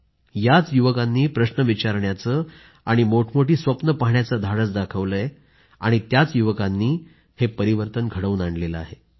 याच युवकांनी प्रश्न विचारण्याचे आणि मोठमोठी स्वप्न पाहण्याचे धाडस दाखवले आहे त्याच युवकांनी हे परिवर्तन घडवून आणले आहे